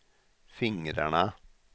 fingrarna